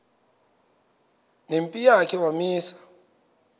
nempi yakhe wamisa